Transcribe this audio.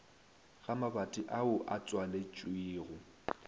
ga mabati ao a tswaletšwego